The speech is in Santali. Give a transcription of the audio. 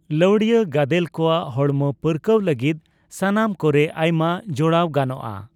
ᱞᱟᱹᱣᱲᱤᱭᱟᱹ ᱜᱟᱫᱮᱞ ᱠᱚᱣᱟᱜ ᱦᱚᱲᱢᱚ ᱯᱟᱹᱨᱠᱟᱹᱣ ᱞᱟᱹᱜᱤᱫ ᱥᱟᱢᱟᱱ ᱠᱚᱨᱮ ᱟᱭᱢᱟ ᱡᱚᱲᱟᱣ ᱜᱟᱱᱚᱜᱼᱟ ᱾